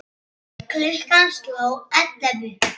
Klukkan sló ellefu.